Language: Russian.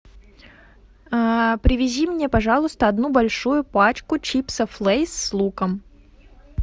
привези мне пожалуйста одну большую пачку чипсов лейс с луком